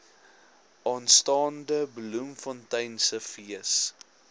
aanstaande bloemfonteinse fees